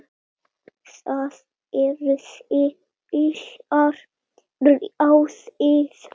Það yrði illa ráðið.